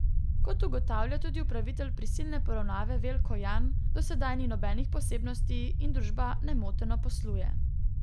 Kot ugotavlja tudi upravitelj prisilne poravnave Veljko Jan, do sedaj ni nobenih posebnosti in družba nemoteno posluje.